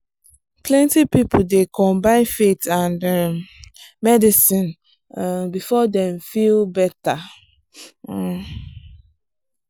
plenty people dey combine faith and um medicine um before dem feel better. um